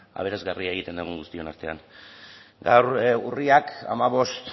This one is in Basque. ea aberasgarria egiten dugun guztion artean gaur urriak hamabost